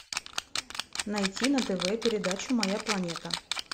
найти на тв передачу моя планета